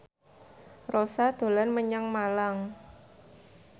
Rossa dolan menyang Malang